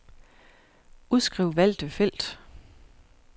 Udskriv valgte felt.